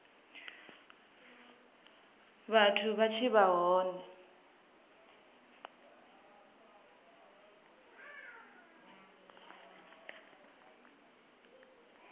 vhathu vha tshi vha hone